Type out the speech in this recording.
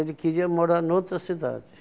Ele queria morar em outra cidade.